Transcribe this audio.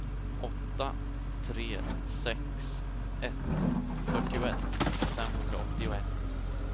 åtta tre sex ett fyrtioett femhundraåttioett